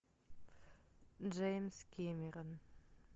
джеймс кэмерон